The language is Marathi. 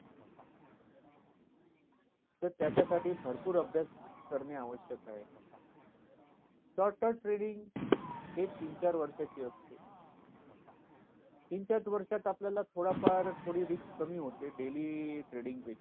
त्याच्या साठी भरपूर अभ्यास करणे आवश्यक आहे trading तीन चार वर्षची असते तीन चार वर्षात आपल्याला थोडा फार थोडी risk कमी होते daily trading